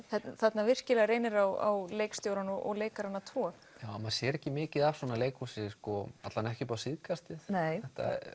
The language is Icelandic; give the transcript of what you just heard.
þarna virkilega reynir á leikstjórann og leikarana tvo maður sér ekki mikið af svona leikhúsi allavega ekki upp á síðkastið nei